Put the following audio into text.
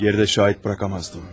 Geri də şahid buraxa bilməzdim.